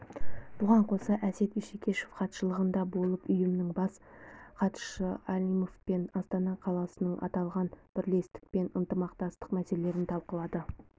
бұған қоса әсет исекешев хатшылығында болып ұйымның бас хатшысы алимовпен астана қаласының аталғанбірлестікпен ынтымақтастық мәселелерін талқылады